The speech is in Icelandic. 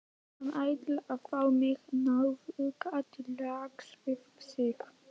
Hann ætlaði að fá mig, nauðuga, til lags við sig.